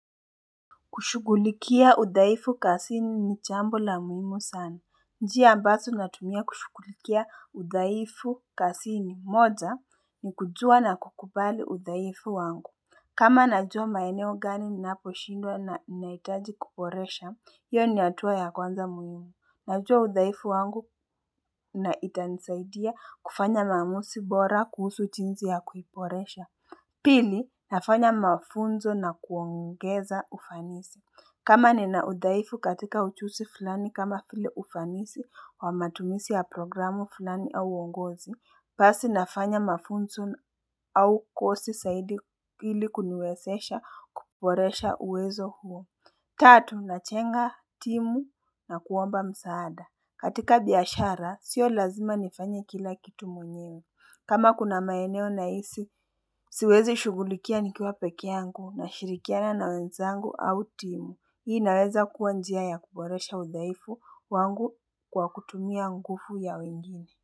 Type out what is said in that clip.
Kushugulikia udhaifu kasini ni chambo la muhimu sana. Njia ambazo natumia kushugulikia udhaifu kasini moja ni kujua na kukubali udhaifu wangu kama najua maeneo gani ninaposhindwa na ninahitaji kuboresha, hio ni hatua ya kwanza muhimu. Najua udhaifu wangu na itanisaidia kufanya maamusi bora kuhusu jinzi ya kuiboresha Pili, nafanya mafunzo na kuongeza ufanisi kama nina udhaifu katika uchusi fulani kama file ufanisi wa matumisi ya programu fulani au uongozi, pasi nafanya mafunzo au kosi saidi ili kuniwesesha kuporesha uwezo huo. Tatu, nachenga timu na kuomba msaada. Katika biashara, sio lazima nifanye kila kitu mwenyewe. Kama kuna maeneo nahisi, siwezi shugulikia nikiwa pekeangu nashirikiana na wenzangu au timu. Hii inaweza kuwa njia ya kuboresha udhaifu wangu kwa kutumia ngufu ya wengine.